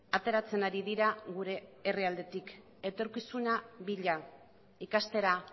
ateratzen ari dira gure herrialdetik etorkizuna bila ikastera